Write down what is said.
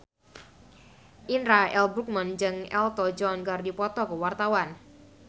Indra L. Bruggman jeung Elton John keur dipoto ku wartawan